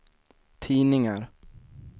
tidningar